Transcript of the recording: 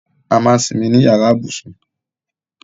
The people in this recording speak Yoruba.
A máà ń simi ní yàrá ibùsùn